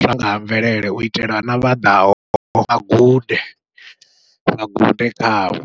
zwa nga ha mvelele u itela na vha ḓaho vha gude vha gude khavho.